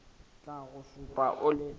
tla go šupa o le